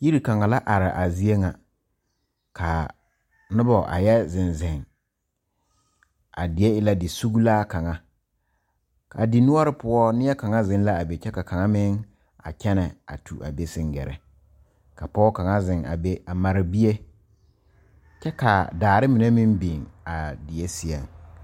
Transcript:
Yiri kaŋa la are a zie ŋa ka noba a yɛ zeŋ zeŋ a die e la disuglaa kaŋa ka a dinuori poɔ neɛ kaŋa zeŋ l,a be kyɛ ka kaŋ meŋ a kyɛnɛ a tu a be seŋ gɛrɛ ka pɔge kaŋa zeŋ a be a mare bie kyɛ ka daare mine meŋ biŋ a die seɛŋ.